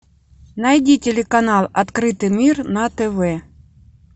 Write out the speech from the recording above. найди телеканал открытый мир на тв